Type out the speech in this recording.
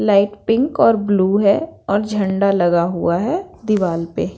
light pink और blue हैं और झंडा लगा हुआ हैं दीवाल पे--